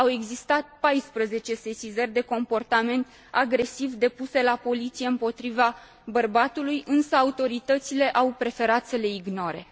Au existat 14 sesizări de comportament agresiv depuse la poliție împotriva bărbatului, însă autoritățile au preferat să le ignore.